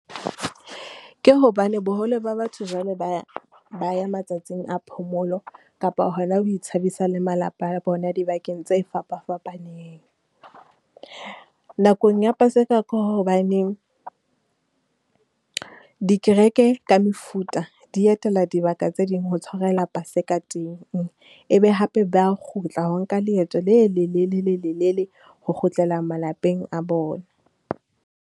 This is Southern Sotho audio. Ke hobane boholo ba batho jwalo ba, ba ya matsatsing a phomolo kapa hona ho itshabisa le malapa a bona dibakeng tse fapafapaneng. Nakong ya paseka ke hobaneng, dikereke ka mefuta di etela dibaka tse ding ho tshwarela paseka teng. E be hape ba a kgutla ho nka leeto le lelelele lelele ho kgutlela malapeng a bona.